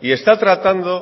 y está tratando